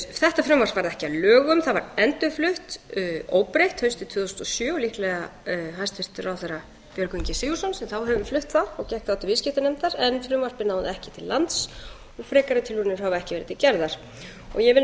þetta frumvarp varð ekki að lögum það var endurflutt óbreytt haustið tvö þúsund og sjö og líklega hæstvirtur ráðherra björgvin g sigurðsson sem þá hefur flutt það og gekk þá til viðskiptanefndar en frumvarpið náði ekki til lands og frekari tilraunir hafa ekki verið gerðar ég vil nú